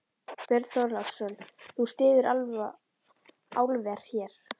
Björn Þorláksson: Þú styður álver hér?